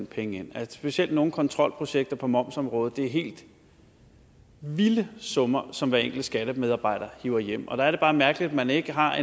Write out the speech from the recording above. penge ind specielt i nogle kontrolprojekter på momsområdet er det helt vilde summer som hver enkelt skattemedarbejder hiver hjem og der er det bare mærkeligt at man ikke har